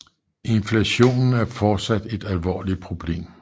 Inflationen er fortsat et alvorligt problem